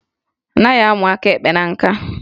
A naghị amụ aka ekpe na nka